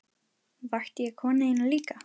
Vakti ég konu þína líka?